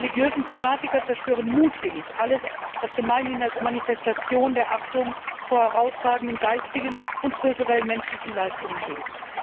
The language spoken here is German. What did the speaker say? Die religiösen Fanatiker zerstören mutwillig alles, was gemeinhin als Manifestation der Achtung vor herausragenden geistigen und kulturellen menschlichen Leistungen gilt.